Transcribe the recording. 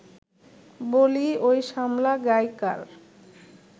বলি, ঐ শামলা গাই কার